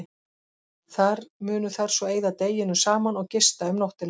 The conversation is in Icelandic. Þar munu þær svo eyða deginum saman og gista um nóttina.